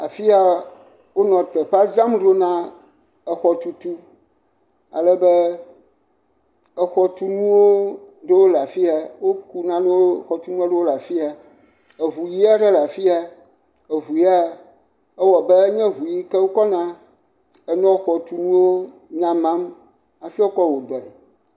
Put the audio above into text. Afi ya wonɔ teƒea dzram ɖo na exɔtutu. Ale be, exɔtunu aɖewo le afi ya. Woku nanewo, xɔtunu aɖewo le afi ya. Eŋu ʋi aɖe le afi ya. Eŋu ya ewɔ abe enye eŋu yi ke wokɔna enɔ xɔtunuwo nyamam hafi woakɔ wo dɔe.